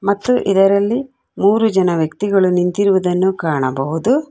ಮತ್ತು ಇದರಲ್ಲಿ ಮೂರು ಜನ ವ್ಯಕ್ತಿಗಳು ನಿಂತಿರುವುದನ್ನು ಕಾಣಬಹುದು.